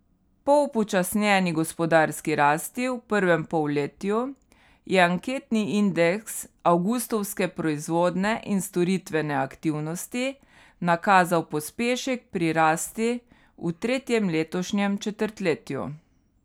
Po upočasnjeni gospodarski rasti v prvem polletju je anketni indeks avgustovske proizvodne in storitvene aktivnosti nakazal pospešek pri rasti v tretjem letošnjem četrtletju.